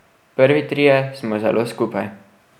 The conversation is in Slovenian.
Prvi trije smo zelo skupaj.